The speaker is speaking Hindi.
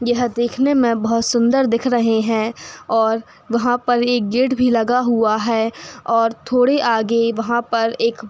यह देखने में बहोत सुंदर दिख रहे हैं और वहाँ पर एक गेट भी लगा हुआ है और थोड़े आगे वहाँ पर एक --